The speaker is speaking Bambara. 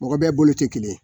Mɔgɔ bɛ bolo tɛ kelen ye.